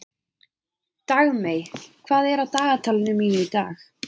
Dagmey, hvað er á dagatalinu mínu í dag?